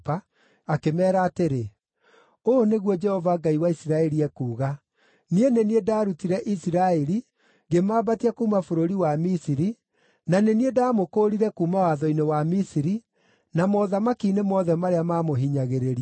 akĩmeera atĩrĩ, “Ũũ nĩguo Jehova Ngai wa Isiraeli ekuuga: ‘Niĩ nĩ niĩ ndaarutire Isiraeli, ngĩmambatia kuuma bũrũri wa Misiri, na nĩ niĩ ndaamũkũũrire kuuma watho-inĩ wa Misiri, na mothamaki-inĩ mothe marĩa maamũhinyagĩrĩria.’